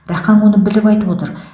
рақаң оны біліп айтып отыр